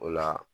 O la